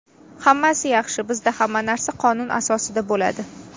Hammasi yaxshi, bizda hamma narsa qonun asosida bo‘ladi”.